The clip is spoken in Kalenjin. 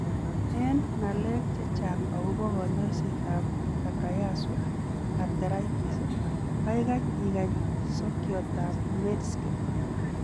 En ng'alek chechang' agobo konyoisetab Takayasu arteritis, kaikai igany sokiotab Medscape.